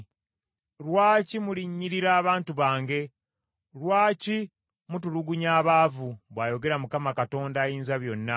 Lwaki mulinnyirira abantu bange, lwaki mutulugunya abaavu?” bw’ayogera Mukama Katonda Ayinzabyonna.